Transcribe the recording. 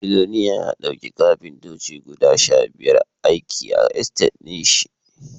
Billoliyan ya dauki Kafintoci guda Sha biyar aiki a estate nashi